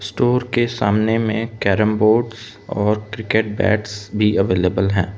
Store के सामने में कैरम बोर्ड्स और क्रिकेट बैट्स भी अवेलेबल है।